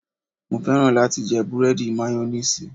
Mo fẹ́ràn láti jẹ búrẹ́dì mayonnaise